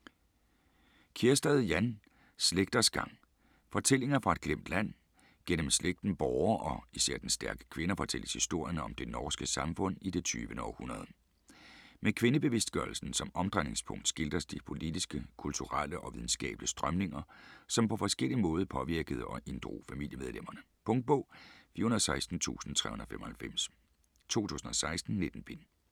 Kjærstad, Jan: Slægters gang: fortællinger fra et glemt land Gennem slægten Bohre og især dens stærke kvinder fortælles historien om det norske samfund i det 20. århundrede. Med kvindebevidstgørelsen som omdrejningspunkt skildres de politiske, kulturelle og videnskabelige strømninger som på forskellig måde påvirkede og inddrog familiemedlemmerne. Punktbog 416395 2016. 19 bind.